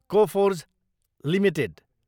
Coforge Ltd